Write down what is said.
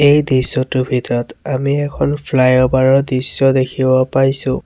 এই দৃশ্যটোৰ ভিতৰত আমি এখন ফ্লাইঅভাৰ ৰ দৃশ্য দেখিব পাইছোঁ।